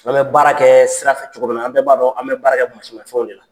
An bɛ baara kɛɛ sira fɛ cogo min na an bɛ b'a dɔn an bɛ baara kɛ masimafɛnw de la.